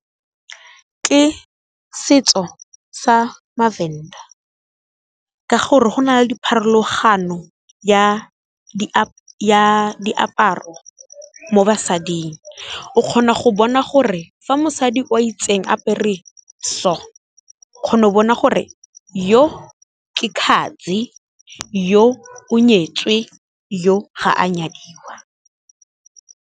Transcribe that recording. Ke setso sa maVenda, ka gore go na le dipharologano ya diaparo mo basading o kgona go bona gore fa mosadi o a itseng apere so, o kgona go bona gore yo khadzi, yo o nyetswe, yo ga a nyadiwa.